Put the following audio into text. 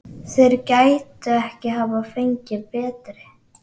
Þeir gætu ekki hafa fengið betri.